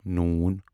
ن